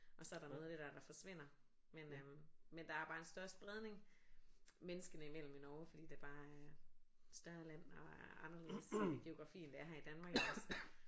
Og så er der noget af det der der forsvinder men øh men der er bare en større spredning menneskene imellem i Norge fordi det bare er større land og er anderledes geografi end det er her i Danmark iggås